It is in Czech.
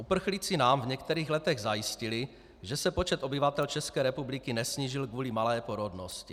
Uprchlíci nám v některých letech zajistili, že se počet obyvatel České republiky nesnížil kvůli malé porodnosti.